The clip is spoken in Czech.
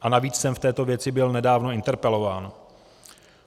A navíc jsem v této věci byl nedávno interpelován.